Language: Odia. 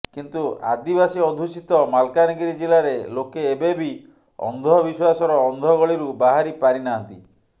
କିନ୍ତୁ ଆଦିବାସୀ ଅଧ୍ୟୁଷିତ ମାଲକାନଗିରି ଜିଲ୍ଲାରେ ଲୋକେ ଏବେ ବି ଅନ୍ଧବିଶ୍ବାସର ଅନ୍ଧଗଳିରୁ ବାହାରି ପାରିନାହାନ୍ତି